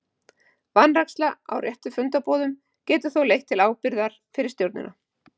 Vanræksla á réttri fundarboðun getur þó leitt til ábyrgðar fyrir stjórnina.